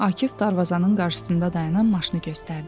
Akif darvazanın qarşısında dayanan maşını göstərdi.